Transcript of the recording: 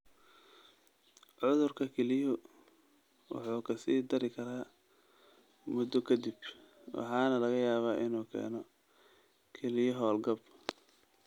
Cudurka kelyuhu wuu ka sii dari karaa muddo ka dib, waxaana laga yaabaa inuu keeno kelyo hawlgab.